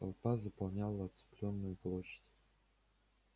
толпа заполняла оцеплённую площадь